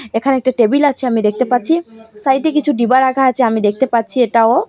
এখানে একটা টেবিল আছে আমি দেখতে পাচ্ছি সাইডে কিছু ডিবা রাখা আছে দেখতে পাচ্ছি এটাও।